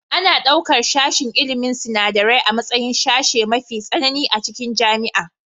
Ana ɗaukar sashen ilmin sinadarai a matsayin sashe mafi tsanani a cikin jami'a